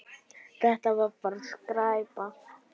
Þetta var bara skræpa.